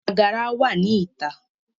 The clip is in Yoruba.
Agara wa ni ita